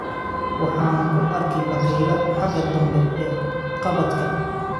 Waxa aan ku arkay bakayle xagga dambe ee kabadhka